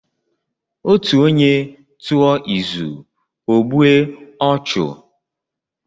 Ọtu ọnye tụọ ịzụ ọ gbụe ọchu.